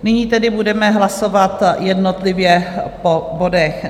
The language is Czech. Nyní tedy budeme hlasovat jednotlivě po bodech.